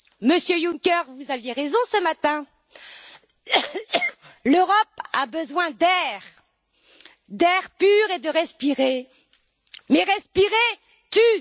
Monsieur Juncker, vous aviez raison ce matin l'Europe a besoin d'air pur et de respirer, mais respirer tue!